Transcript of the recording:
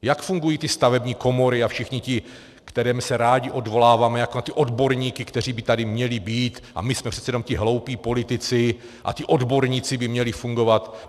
Jak fungují ty stavební komory a všichni, na které se rádi odvoláváme jako na ty odborníky, kteří by tady měli být, a my jsme přece jenom ti hloupí politici a ti odborníci by měli fungovat?